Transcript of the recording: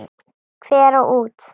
Hver á út?